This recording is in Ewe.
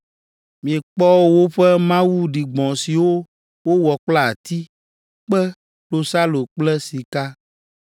Miekpɔ woƒe mawu ɖigbɔ̃ siwo wowɔ kple ati, kpe, klosalo kple sika.